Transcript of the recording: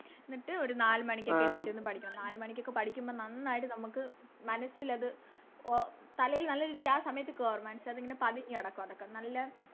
എന്നിട്ട് ഒരു നാല് മണിക്കൊക്കെ എണീറ്റിരുന്ന് പഠിക്കണം നാല് മണിക്കൊക്കെ പഠിക്കുമ്പോ നന്നായിട്ട് നമുക്ക് മനസ്സിലത് ഓ തലേല് നല്ല രീതിക്ക് ആ സമയത്ത് കേറും മനസ്സിലതിങ്ങനെ പതിഞ്ഞ് കെടക്കും അതൊക്കെ നല്ല